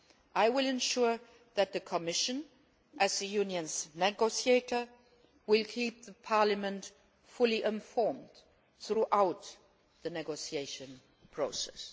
I will ensure that the Commission, as the Union's negotiator, will keep Parliament fully informed throughout the negotiation process.